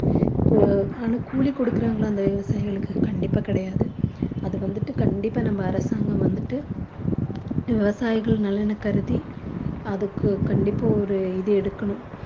கூ~ ஆனா கூலி குடுக்கிறாங்களா அந்த விவசாயிகளுக்கு கண்டிப்பாக கிடையாது அது வந்துட்டு கண்டிப்பா நம்ம அரசாங்கம் வந்துட்டு விவசாயிகள் நலனை கருதி அதற்கு கண்டிப்பாக ஒரு இது எடுக்கணும்